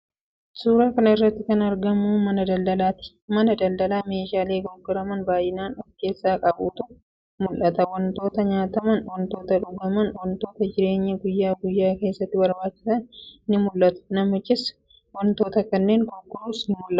Suuraa kana irratti kan argamu mana daldalaati. Mana daldalaa meeshaalee gurguraman baay'inaan of keessaa qabutu mul'ata. Wantoota nyaataman, wantoota dhugaman, wantoota jireenya guyyaa guyyaa keessatti barbaachisan ni mul'atu. Namichi wantoota kanneen gurgurus ni mul'ata.